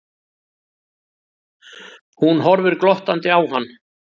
Hún horfir glottandi á hann.